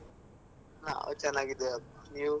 ನಾವ್ ಚೆನ್ನಾಗಿದ್ದೇವಪ್ಪಾ, ನೀವು?